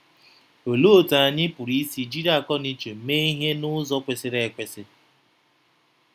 Olee otú anyị pụrụ isi jiri akọnuche mee ihe n’ụzọ kwesịrị ekwesị?